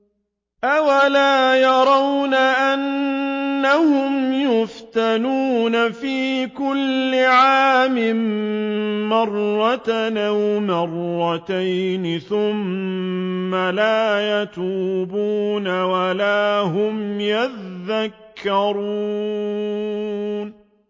أَوَلَا يَرَوْنَ أَنَّهُمْ يُفْتَنُونَ فِي كُلِّ عَامٍ مَّرَّةً أَوْ مَرَّتَيْنِ ثُمَّ لَا يَتُوبُونَ وَلَا هُمْ يَذَّكَّرُونَ